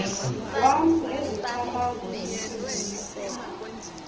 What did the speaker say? wam nezicamango zentliziyo